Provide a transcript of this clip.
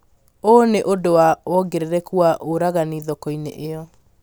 Ũũ nĩ ũndũ wa wongerereku wa ũragani thoko-inĩ iyo